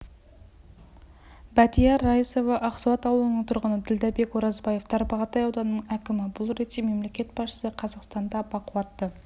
бәтия раисова ақсуат ауылының тұрғыны ділдәбек оразбаев тарбағатай ауданының әкімі бұл ретте мемлекет басшысы қазақстанда бақуатты